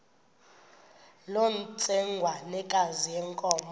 loo ntsengwanekazi yenkomo